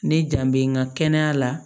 Ne jan bɛ n ka kɛnɛya la